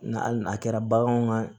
Nga hali n'a kɛra baganw ka